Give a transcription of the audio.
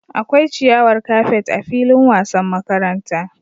Akwai ciyawar kafet a filin wasan makaranta